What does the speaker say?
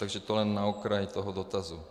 Takže to jen na okraj toho dotazu.